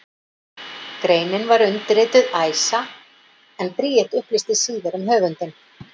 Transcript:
Greinin var undirrituð Æsa, en Bríet upplýsti síðar um höfundinn.